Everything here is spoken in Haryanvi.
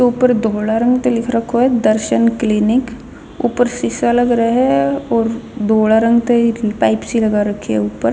ऊपर धोल्ह रंग त लिख रखो ह दर्शन क्लिनिक ऊपर शीशा लग रा ह और धोल्ह रंग तई पाइप सी लगा रखी ह ऊपर-- .